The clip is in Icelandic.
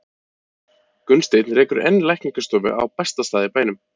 Gunnsteinn rekur enn lækningastofu á besta stað í bænum.